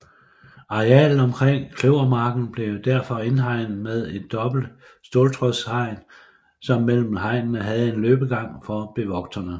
Arealet omkring Kløvermarken blev derfor indhegnet med et dobbelt ståltrådshegn som mellem hegnene havde en løbegang for bevogterne